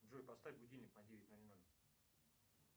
джой поставь будильник на девять ноль ноль